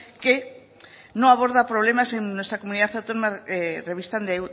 que no aborda problemas en nuestra comunidad autónoma revistan de